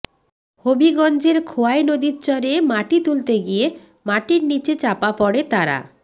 হবিগঞ্জের খোয়াই নদীর চরে মাটি তুলতে গিয়ে মাটির নিচে চাপা পড়ে তারা